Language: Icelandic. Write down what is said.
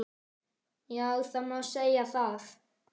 Já það má segja það.